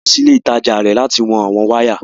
À lọ sí ilẹ̀ itajà rẹ láti wọn àwọn wàya.